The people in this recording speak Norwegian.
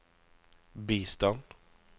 bistand